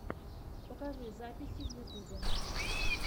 покажи записи в ютюбе